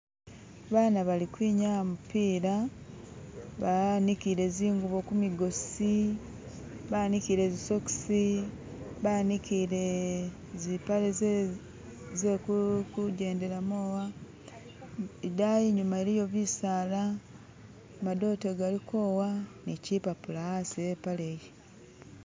baana balikwinyaa mupila banikile zingubo kumigosi banikile zisokisi banikile zipale zekungendelamo aha idayi inyuma iliyo bisaala madote galiko aha ni kipapula aasi e'paale iyo.